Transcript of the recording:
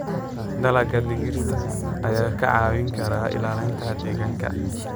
Dalagga digirta ayaa kaa caawin kara ilaalinta deegaanka.